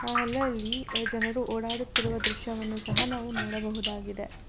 ಅಲಲ್ಲಿ ಜನರು ಓಡಾಡುತ್ತಿರುವ ದೃಶ್ಯವನ್ನು ಸಹ ನಾವು ನೋಡಬಹುದಾಗಿದೆ.